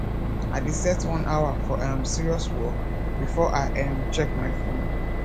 i dey set one hour for um serious work before i um check my phone